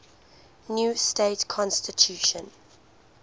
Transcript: new state constitution